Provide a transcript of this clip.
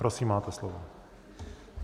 Prosím, máte slovo.